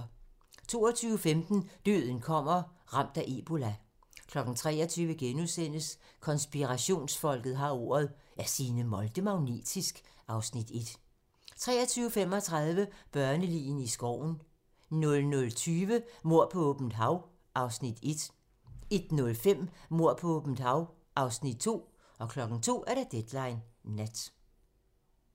22:15: Døden kommer – Ramt af ebola 23:00: Konspirationsfolket har ordet - Er Signe Molde magnetisk? (Afs. 1)* 23:35: Børne-ligene i skoven 00:20: Mord på åbent hav (Afs. 1) 01:05: Mord på åbent hav (Afs. 2) 02:00: Deadline nat